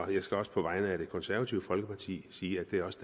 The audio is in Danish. og jeg skal også på vegne af det konservative folkeparti sige at det også